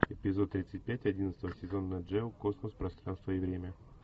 эпизод тридцать пять одиннадцатого сезона нат гео космос пространство и время